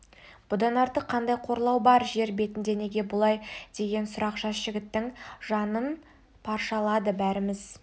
бұдан артық қандай қорлау бар жер бетінде неге бұлай деген сұрақ жас жігіттің жанын паршалады бәріміз